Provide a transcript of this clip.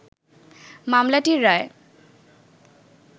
মামলাটির রায়